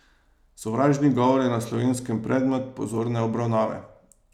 Sovražni govor je na Slovenskem predmet pozorne obravnave.